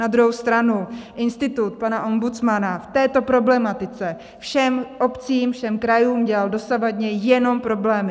Na druhou stranu institut pana ombudsmana v této problematice všem obcím, všem krajům dělal dosavadně jenom problémy.